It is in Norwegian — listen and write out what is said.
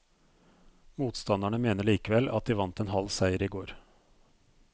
Motstanderne mener likevel at de vant en halv seier i går.